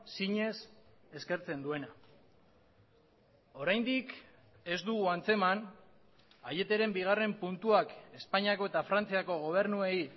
zinez eskertzen duena oraindik ez dugu antzeman aieteren bigarren puntuak espainiako eta frantziako gobernuei